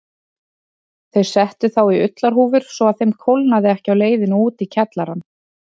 Þau settu þá í ullarhúfur svo að þeim kólnaði ekki á leiðinni út í kjallarann.